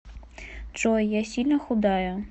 джой я сильно худая